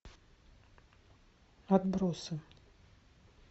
отбросы